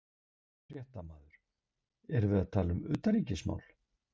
Fréttamaður: Erum við að tala um utanríkismál?